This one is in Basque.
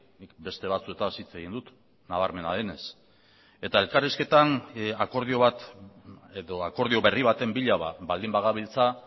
nik beste batzuetaz hitz egin dut nabarmena denez eta elkarrizketan akordio bat edo akordio berri baten bila baldin bagabiltza